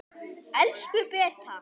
Elsku Beta.